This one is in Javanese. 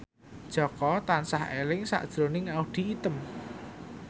Jaka tansah eling sakjroning Audy Item